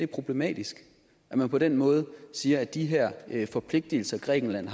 problematisk at man på den måde siger at de her forpligtelser grækenland